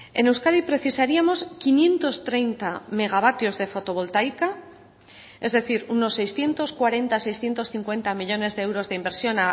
en euskadi precisaríamos quinientos treinta megavatios de fotovoltaica es decir unos seiscientos cuarenta seiscientos cincuenta millónes de euros de inversión